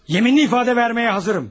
Yeminli ifade verməyə hazırım.